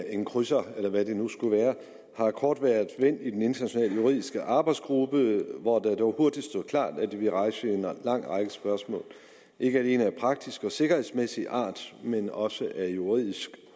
en krydser eller hvad det nu skulle være har kort været vendt i den internationale juridiske arbejdsgruppe hvor det dog hurtigt stod klart at det ville rejse en lang række spørgsmål ikke alene af praktisk og sikkerhedsmæssig art men også af juridisk